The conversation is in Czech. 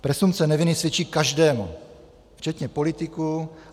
Presumpce neviny svědčí každému, včetně politiků.